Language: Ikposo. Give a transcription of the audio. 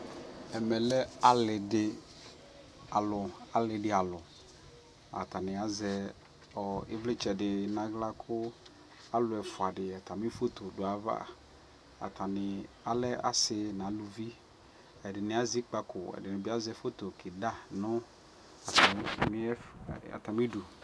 ɛmɛ lɛ ali di alʋ ,alidi alʋ atani azɛ ivlitsɛ dini nʋ ala kʋ alʋ ɛƒʋa di atami phɔtɔ dʋ ayava, atani lɛ asii nʋ alʋvi, ɛdini azɛ ikpakɔ ɛdini bi asɛ phɔtɔ kida nʋ atami idʋ